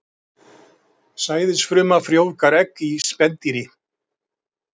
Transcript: Sæðisfruma frjóvgar egg í spendýri.